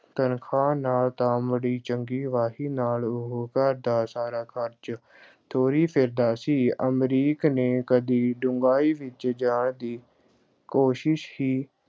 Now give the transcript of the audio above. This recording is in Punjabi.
ਤਨਖ਼ਾਹ ਨਾਲ ਤਾਂ ਮਾੜੀ ਚੰਗੀ ਵਾਹੀ ਨਾਲ ਉਹ ਘਰ ਦਾ ਸਾਰਾ ਖ਼ਰਚ ਤੋਰੀ ਫਿਰਦਾ ਸੀ, ਅਮਰੀਕ ਨੇ ਕਦੀ ਡੂੰਘਾਈ ਵਿੱਚ ਜਾਣ ਦੀ ਕੋਸ਼ਸ਼ ਹੀ